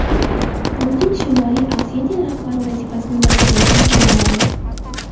Putin Shimoliy Osetiya rahbari vazifasini bajaruvchini tayinladi.